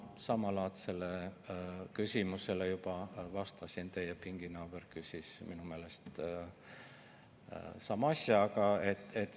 Ma samalaadsele küsimusele juba vastasin, teie pinginaaber küsis minu meelest sama asja.